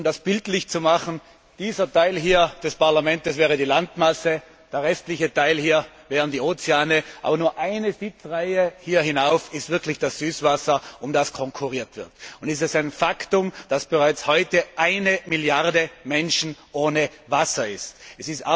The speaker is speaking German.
Um das bildlich zu machen Dieser Teil des Parlaments hier wäre die Landmasse, der restliche Teil hier wären die Ozeane, aber nur eine Sitzreihe hier hinauf ist wirklich das Süßwasser, um das konkurriert wird. Es ist ein Faktum, dass bereits heute 1 Milliarde Menschen ohne Wasser sind.